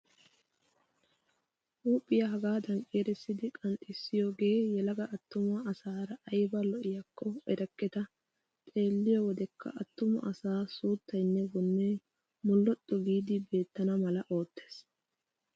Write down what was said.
Huuphphiyaa hagaadan ciirissidi qanxxissiyoogee yelaga attumaa asaara ayiba lo''iiyaakko erekketaa. Xeelliyoo wodekka attuma asaa suuttayinne wonne molxxu giidi beettana mala oottes.